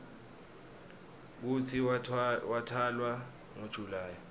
kutsi watalwa ngo july